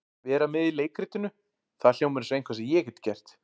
Vera með í leikritinu, það hljómar eins og eitthvað sem ég get gert.